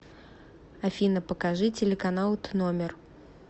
афина покажи телеканал тномер